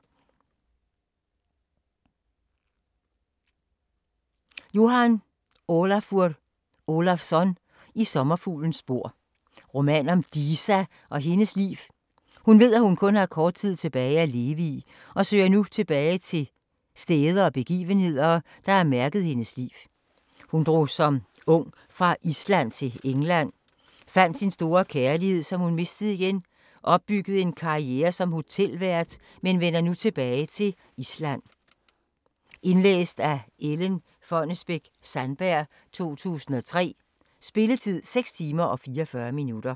Ólafur Jóhann Ólafsson: I sommerfuglens spor Roman om Disa og hendes liv. Hun ved at hun kun har kort tid tilbage at leve i, og søger nu tilbage til steder og begivenheder, der har mærket hendes liv. Hun drog som ung fra Island til England, fandt sin store kærlighed som hun mistede igen, opbyggede en karriere som hotelvært, men vender nu tilbage til Island. Lydbog 33630 Indlæst af Ellen Fonnesbech-Sandberg, 2003. Spilletid: 6 timer, 44 minutter.